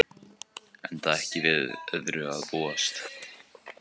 Enda ekki við öðru að búast